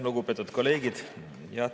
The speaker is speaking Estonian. Lugupeetud kolleegid!